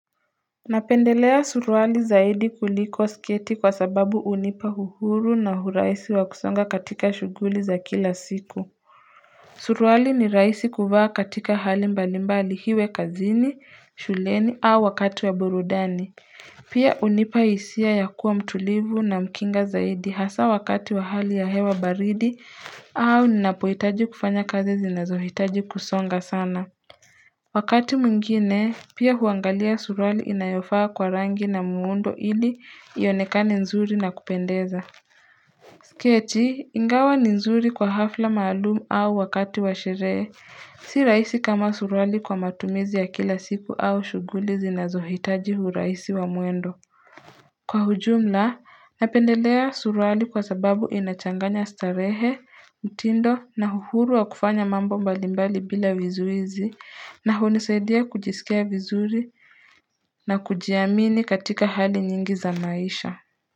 Napendelea surwali zaidi kulikoa sketi kwa sababu unipa huhuru na huraisi wa kusonga katika shuguli za kila siku Surwali ni raisi kuvaa katika hali mbali mbali hiwe kazini shuleni au wakati wa burudani Pia unipa isia ya kuwa mtulivu na mkinga zaidi hasa wakati wa hali ya hewa baridi au ninapoitaji kufanya kazi zinazohitaji kusonga sana Wakati mwngine, pia huangalia surwali inayofaa kwa rangi na muundo ili ionekane nzuri na kupendeza. Sketi, ingawa ni nzuri kwa hafla maalumu au wakati washeree. Si raisi kama surwali kwa matumizi ya kila siku au shuguli zinazohitaji huraisi wa muendo. Kwa hujumla, napendelea suruali kwa sababu inachanganya starehe, utindo na huhuru wa kufanya mambo mbalimbali bila vizuizi na hunisaidia kujisikia vizuri na kujiamini katika hali nyingi za maisha.